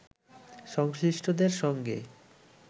সংশ্লিষ্টদের সঙ্গে